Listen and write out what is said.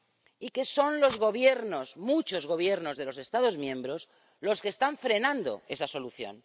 y que son los Gobiernos, muchos Gobiernos de los Estados miembros, los que están frenando esa solución.